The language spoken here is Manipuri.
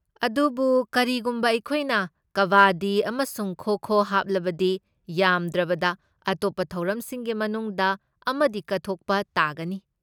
ꯑꯗꯨꯕꯨ ꯀꯔꯤꯒꯨꯝꯕ ꯑꯩꯈꯣꯏꯅ ꯀꯕꯥꯗꯤ ꯑꯃꯁꯨꯡ ꯈꯣ ꯈꯣ ꯍꯥꯞꯂꯕꯗꯤ, ꯌꯥꯝꯗ꯭ꯔꯕꯗ ꯑꯇꯣꯞꯄ ꯊꯧꯔꯝꯁꯤꯡꯒꯤ ꯃꯅꯨꯡꯗ ꯑꯃꯗꯤ ꯀꯛꯊꯠꯄ ꯇꯥꯒꯅꯤ꯫